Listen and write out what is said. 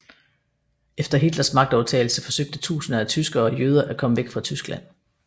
Efter Hitlers magtovertagelse forsøgte tusinder af tyskere og jøder at komme væk fra Tyskland